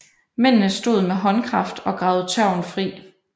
Mændene stod med håndkraft og gravede tørven fri